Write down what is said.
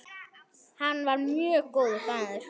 Hann var mjög góður maður.